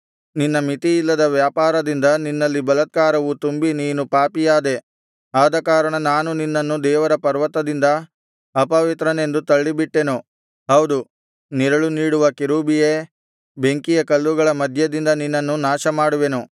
ನಿನ್ನ ಮಿತಿಯಿಲ್ಲದ ವ್ಯಾಪಾರದಿಂದ ನಿನ್ನಲ್ಲಿ ಬಲಾತ್ಕಾರವು ತುಂಬಿ ನೀನು ಪಾಪಿಯಾದೆ ಆದಕಾರಣ ನಾನು ನಿನ್ನನ್ನು ದೇವರ ಪರ್ವತದಿಂದ ಅಪವಿತ್ರನೆಂದು ತಳ್ಳಿಬಿಟ್ಟೆನು ಹೌದು ನೆರಳು ನೀಡುವ ಕೆರೂಬಿಯೇ ಬೆಂಕಿಯ ಕಲ್ಲುಗಳ ಮಧ್ಯದಿಂದ ನಿನ್ನನ್ನು ನಾಶಮಾಡುವೆನು